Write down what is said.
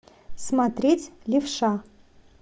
смотреть левша